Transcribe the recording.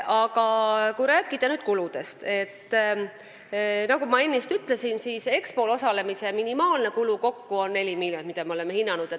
Aga kui rääkida kuludest, siis, nagu ma ennist ütlesin, Expol osalemise minimaalne kulu on neli miljonit, nii me oleme hinnanud.